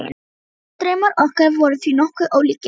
Framtíðardraumar okkar voru því nokkuð ólíkir.